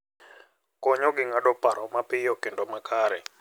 Konyogi ng'ado paro mapiyo kendo makare.